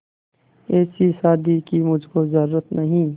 ऐसी शादी की मुझको जरूरत नहीं